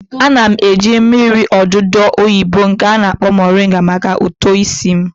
Ana m eji mmiri odudu oyibo nke a na-akpọ moringa maka uto isi m